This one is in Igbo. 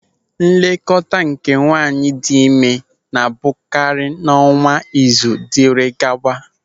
Nlekọta nke nwaanyị dị ime na-abụkarị n'ọnwa, izu, dịrị gawa.